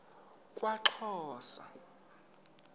kwaxhosa